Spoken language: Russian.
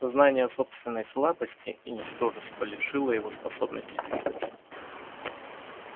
сознание собственной слабости и ничтожества лишило его способности двигаться